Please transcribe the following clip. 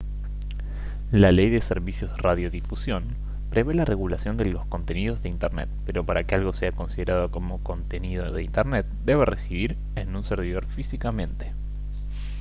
la ley de servicios de radiodifusión prevé la regulación de los contenidos de internet pero para que algo sea considerado como contenido de internet debe residir en un servidor físicamente